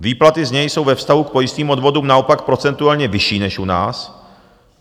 Výplaty z něj jsou ve vztahu k pojistným odvodům naopak procentuálně vyšší než u nás.